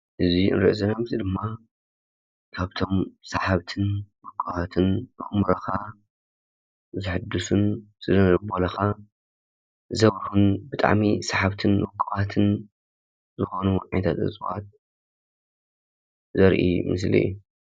እዚ ንርኦ ዘለና ምስሊ ድማ ካብቶም ሳሓብትን ምልኩዓትን ኣእምሮካ ዝሕዱሱን ስነልቦናካ ዘብርሁን ብጣዕሚ ሳሓብትን ምልኩዓትን ዝኮኑ ዓይነት ዕፅዋት ዘርኢ ምስሊ እዩ።